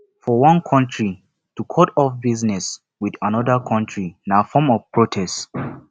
for one country to cut off business with another country na form of protest